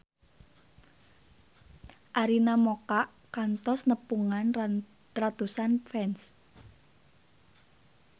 Arina Mocca kantos nepungan ratusan fans